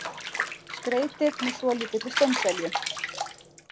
Skreytið með svolítilli steinselju.